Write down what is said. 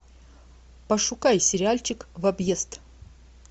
пошукай сериальчик в объезд